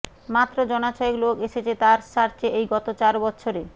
মাত্র জনা ছয়েক লোক এসেছে তার র্যাঞ্চে এই গত চার বৎসরে